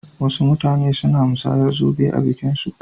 Wasu mutane suna musayar zobe a bikin aurensu.